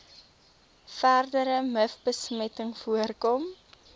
verdere mivbesmetting voorkom